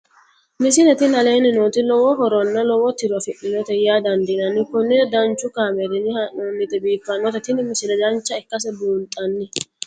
misile tini aleenni nooti lowo horonna lowo tiro afidhinote yaa dandiinanni konnira danchu kaameerinni haa'noonnite biiffannote tini misile dancha ikkase buunxanni